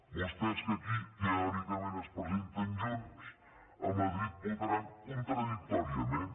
vostès que aquí teòricament es presenten junts a madrid votaran contradictòriament